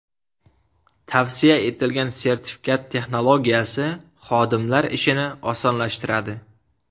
Tavsiya etilgan sertifikat texnologiyasi, xodimlar ishini osonlashtiradi.